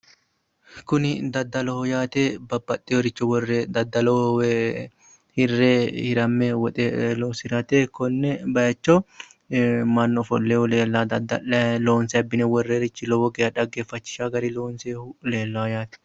Kuni daddaloho yaate babbaxeworicho worre dadaloho woy hire hiramme woxe loosirate ko'ne bayicho mannu ofolinohu leellanno dadalayi loonse abbine worroonnirich lowo geeshsha xageeffachishaarichi leellanno yaate.